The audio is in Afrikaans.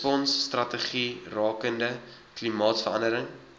responsstrategie rakende klimaatsverandering